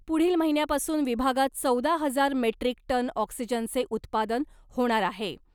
पुढील महिन्यापासून विभागात चौदा हजार मेट्रीक टन ऑक्सिजनचे उत्पादन होणार आहे .